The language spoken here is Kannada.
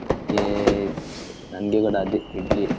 ನಮ್ಗೇ, ನಮ್ಗೆ ಕೂಡ ಅದೇ ಇಡ್ಲಿಯೆ.